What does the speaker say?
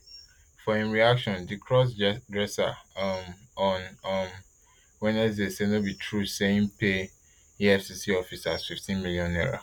for im reaction di crossdresser um on um wednesday say no be true say im pay efcc officers fifteen million naira